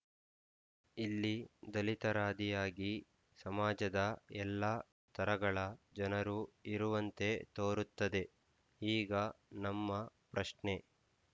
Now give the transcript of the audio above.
ಇಲ್ಲಿ ದಲಿತರಾದಿಯಾಗಿ ಸಮಾಜದ ಎಲ್ಲ ಸ್ತರಗಳ ಜನರೂ ಇರುವಂತೆ ತೋರುತ್ತದೆ ಈಗ ನಮ್ಮ ಪ್ರಶ್ನೆ